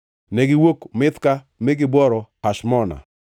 Negiwuok Mithka mi gibworo Hashmona.